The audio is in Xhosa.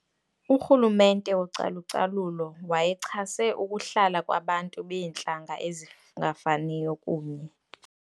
Urhulumente wocalucalulo wayechase ukuhlala kwabantu beentlanga ezingafaniyo kunye.